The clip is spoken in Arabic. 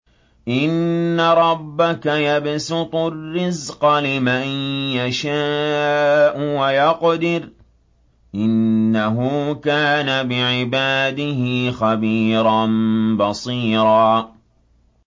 إِنَّ رَبَّكَ يَبْسُطُ الرِّزْقَ لِمَن يَشَاءُ وَيَقْدِرُ ۚ إِنَّهُ كَانَ بِعِبَادِهِ خَبِيرًا بَصِيرًا